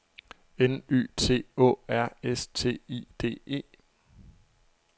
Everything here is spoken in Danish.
N Y T Å R S T I D E